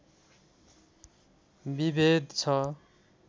विभेद छ